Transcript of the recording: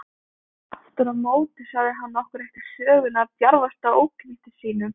Afturámóti sagði hann okkur ekki söguna af djarfasta óknytti sínum.